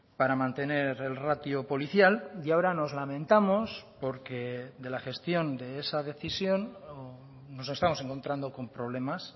para mantener el ratio policial y ahora nos lamentamos porque de la gestión de esa decisión nos estamos encontrando con problemas